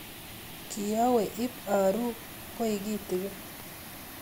Kiawe ip aru koi kitikin